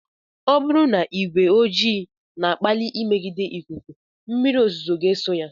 Ọ bụrụ na ìgwè ojii na-akpali mmegide ikuku mmírí ozuzo ga eso ya.